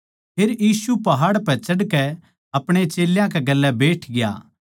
फेर यीशु पहाड़ पै चढ़कै अपणे चेल्यां कै गेल्या बैठग्या